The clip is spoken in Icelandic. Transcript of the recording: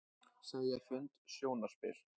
Segja fund sjónarspil